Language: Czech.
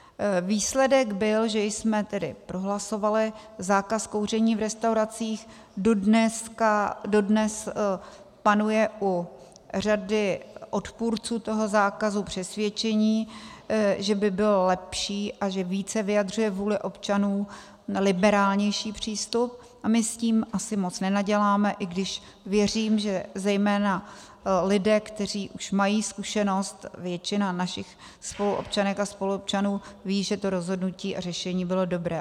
Výsledek byl, že jsme tedy prohlasovali zákaz kouření v restauracích, dodnes panuje u řady odpůrců toho zákazu přesvědčení, že by bylo lepší a že více vyjadřuje vůli občanů liberálnější přístup, a my s tím asi moc nenaděláme, i když věřím, že zejména lidé, kteří už mají zkušenost, většina našich spoluobčanek a spoluobčanů ví, že to rozhodnutí a řešení bylo dobré.